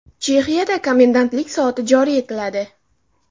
Chexiyada komendantlik soati joriy etiladi.